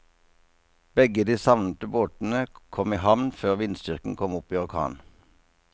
Begge de savnede båtene kom i havn før vindstyrken kom opp i orkan.